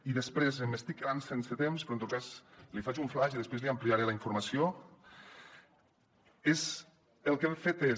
i després m’estic quedant sense temps però en tot cas li faig un flaix i després li ampliaré la informació el que hem fet és